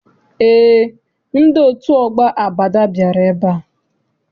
Eé, ndị otu ọgbọ Abada bịara ebea.